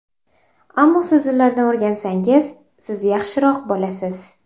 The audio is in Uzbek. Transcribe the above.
Ammo siz ulardan o‘rgansangiz, siz yaxshiroq bo‘lasiz.